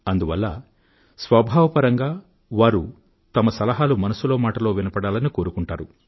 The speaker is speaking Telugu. అందువల్ల స్వభావపరంగా వారు వారి సలహాలు మనసులో మాటలో వినపడాలని కోరుకుంటారు